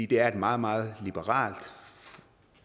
det er et meget meget liberalt